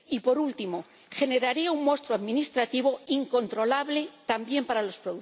y, por último, generaría un monstruo administrativo incontrolable, también para los